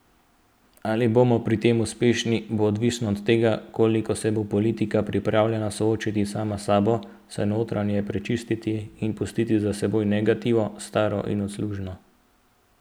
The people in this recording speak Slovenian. Ali bomo pri tem uspešni, bo odvisno od tega, koliko se bo politika pripravljena soočiti sama s sabo, se notranje prečistiti in pustiti za seboj negativno, staro in odsluženo.